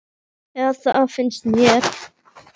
Eða það finnst mér.